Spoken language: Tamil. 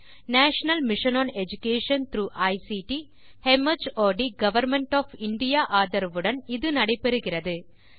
இது national mission on education through ICT mart government of India ஆதரவுடன் நடைபெறுகிறது